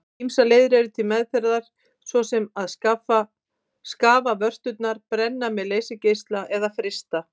Ýmsar leiðir eru til meðferðar svo sem að skafa vörturnar, brenna með leysigeisla eða frysta.